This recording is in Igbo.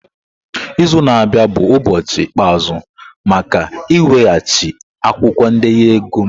Izu na-abịa bụ ụbọchị ikpeazụ maka ị weghachi akwụkwọ ndenye ego m!